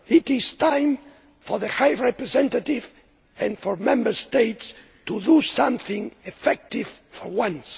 It is time for the High Representative and the Member States to do something effective for once.